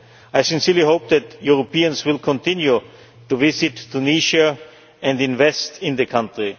I sincerely hope that Europeans will continue to visit Tunisia and invest in the country.